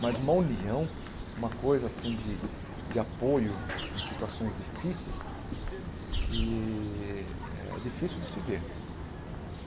Mas uma união, uma coisa assim de de apoio em situações difíceis, que é difícil de se ver.